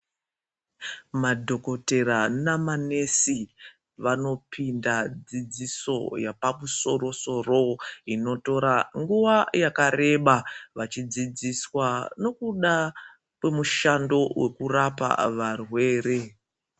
Madhokotera namanesi vanopinda dzidziso yapamusoro soro inotora nguwa yakareba vachidzidziswa nokuda kwemushando wekurapa varwere.